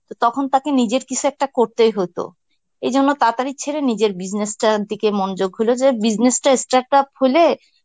তখন তাকে নিজের কিসু একটা করতেই হইতো. এজন্য তাড়াতাড়ি ছেড়ে নিজের business টার দিকে মনযোগ হলো যে business টা start up হলে,